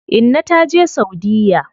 Inna ta taje saudiya.